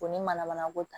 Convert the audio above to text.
Ko ni mana mana ko ta